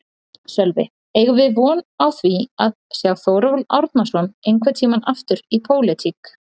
Sölvi: Eigum við von á því að sjá Þórólf Árnason einhvern tímann aftur í pólitík?